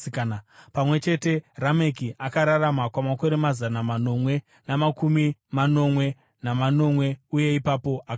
Pamwe chete, Rameki akararama kwamakore mazana manomwe namakumi manomwe namanomwe, uye ipapo akafa.